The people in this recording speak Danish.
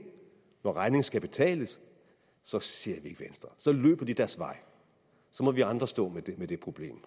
når regningen skal betales så ser ikke venstre så løber de deres vej så må vi andre stå med det problem